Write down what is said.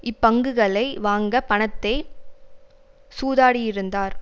இப்பங்குகளை வாங்க பணத்தை சூதாடியிருந்தார்